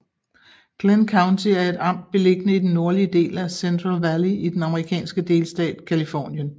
Glenn County er et amt beliggende i den nordlige del af Central Valley i den amerikanske delstat Californien